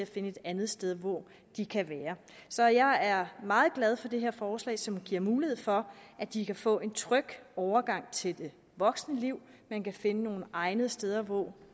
finde et andet sted hvor de kan være så jeg er meget glad for det her forslag som giver mulighed for at de kan få en tryg overgang til voksenlivet og man kan finde nogle egnede steder hvor